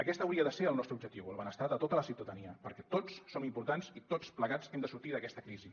aquest hauria de ser el nostre objectiu el benestar de tota la ciutadania perquè tots som importants i tots plegats hem de sortir d’aquesta crisi